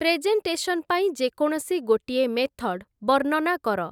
Presentation ପାଇଁ ଯେକୌଣସି ଗୋଟିଏ ମେଥଡ଼ ବର୍ଣ୍ଣନା କର ।